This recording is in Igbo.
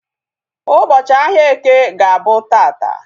Ụbọchị ahia eke ga-abụ taata